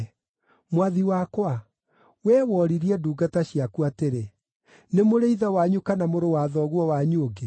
Mwathi wakwa, wee woririe ndungata ciaku atĩrĩ, ‘Nĩ mũrĩ ithe wanyu kana mũrũ wa thoguo wanyu ũngĩ?’